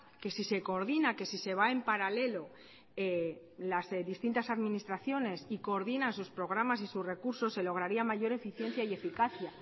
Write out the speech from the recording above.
que si se coordina que si se va en paralelo las distintas administraciones y coordinan sus programas y sus recursos se lograría mayor eficiencia y eficacia